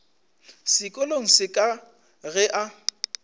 sekolong se ka ge a